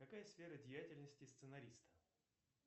какая сфера деятельности сценариста